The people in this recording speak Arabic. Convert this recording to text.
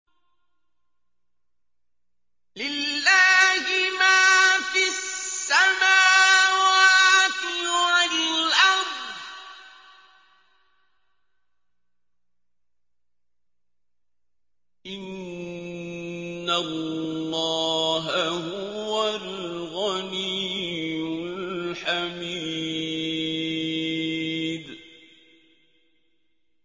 لِلَّهِ مَا فِي السَّمَاوَاتِ وَالْأَرْضِ ۚ إِنَّ اللَّهَ هُوَ الْغَنِيُّ الْحَمِيدُ